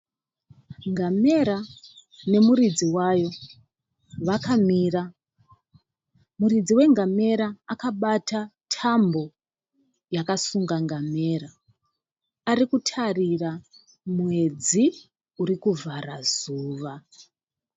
Ngamera nemuridzi wayo vakamira . Muridzi wengamera akabata tambo yakasunga ngamera. Arikutarira mwedzi urikuvhara zuva.